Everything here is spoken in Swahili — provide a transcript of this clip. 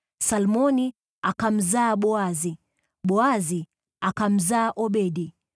Salmoni akamzaa Boazi, Boazi akamzaa Obedi,